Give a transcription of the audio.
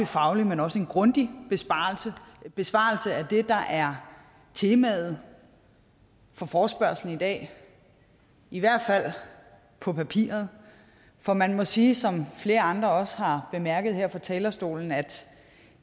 faglig men også grundig besvarelse af det der er temaet for forespørgslen i dag i hvert fald på papiret for man må sige som flere andre også har bemærket her fra talerstolen at